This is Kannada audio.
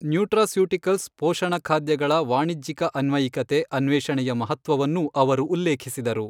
ನ್ಯುಟ್ರಾಸ್ಯೂಟಿಕಲ್ಸ್ ಪೋಷಣಖಾದ್ಯಗಳ ವಾಣಿಜ್ಯಿಕ ಅನ್ವಯಿಕತೆ ಅನ್ವೇಷಣೆಯ ಮಹತ್ವವನ್ನೂ ಅವರು ಉಲ್ಲೇಖಿಸಿದರು.